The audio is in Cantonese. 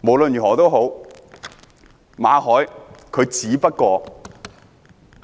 無論如何，馬凱只不過